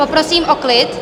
Poprosím o klid!